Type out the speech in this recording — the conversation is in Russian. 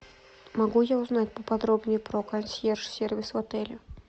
могу я узнать поподробнее про консьерж сервис в отеле